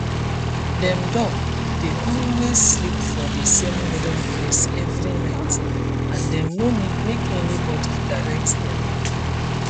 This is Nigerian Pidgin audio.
dem duck dey always sleep for the same wooden place every night and dem no need make anybody direct dem